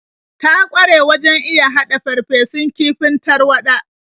Ta ƙware wajen iya haɗa farfesun kifin tarwaɗa.